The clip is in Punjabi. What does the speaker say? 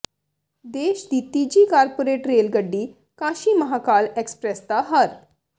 ਦੇਸ਼ ਦੀ ਤੀਜੀ ਕਾਰਪੋਰੇਟ ਰੇਲ ਗੱਡੀ ਕਾਸ਼ੀ ਮਹਾਕਾਲ ਐਕਸਪ੍ਰੈਸ ਦਾ ਹਰ